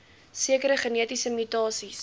sekere genetiese mutasies